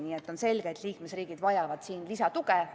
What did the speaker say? Nii et on selge, et liikmesriigid vajavad lisatuge.